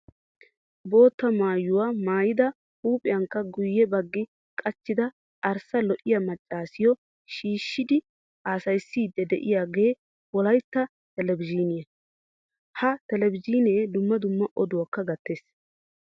Bootta maayyuwaa maayida huuphiyaakka guyye baggi qachida arssa lo'iyaa maaccasiyo shiishidi haasayissiiddi diyaage wolayitya telbeejiiniyaa. Ha telbejiinee dumma dumma oduwaakka gattes.